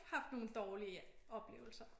Haft nogen dårlige oplevelser